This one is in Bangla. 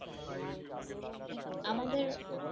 আমাদের